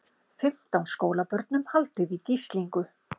Fimmtán skólabörnum haldið í gíslingu